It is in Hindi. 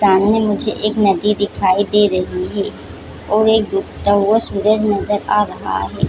सामने मुझे एक नदी दिखाई दे रही है। और एक डूबता हुवा सूरज नजर आ रहा है।